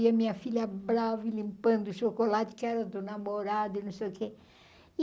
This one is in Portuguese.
E a minha filha brava e limpando o chocolate, que era do namorado e não sei o quê.